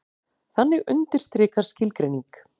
Þannig undirstrikar skilgreining